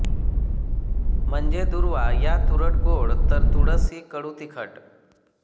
म्हणजे दुर्वा या तुरटगोड तर तुळस ही कडूतिखट